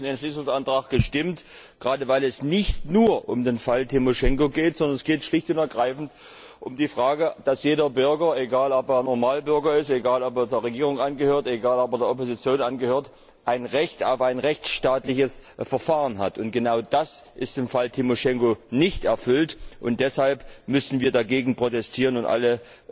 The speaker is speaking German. Ich habe für diesen Entschließungsantrag gestimmt, gerade weil es nicht nur um den Fall Timoschenko geht, sondern schlicht und ergreifend um die Frage, dass jeder Bürger egal, ob er Normalbürger ist, egal, ob er der Regierung angehört, egal, ob er der Opposition angehört ein Recht auf ein rechtsstaatliches Verfahren hat, und genau das ist im Fall Timoschenko nicht erfüllt, und deshalb müssen wir dagegen protestieren und alle